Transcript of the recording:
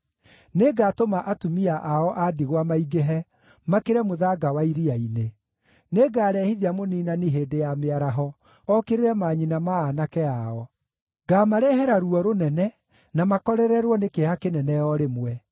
Nĩngatũma atumia ao a ndigwa maingĩhe, makĩre mũthanga wa iria-inĩ. Nĩngarehithia mũniinani hĩndĩ ya mĩaraho okĩrĩre manyina ma aanake ao; ngaamarehera ruo rũnene na makorererwo nĩ kĩeha kĩnene o rĩmwe.